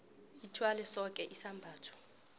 ithwale soke isabelo